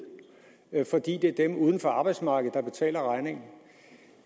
fordi det er dem uden for arbejdsmarkedet der betaler regningen